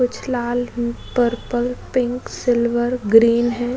कुछ लाल purple pink silver green हैं।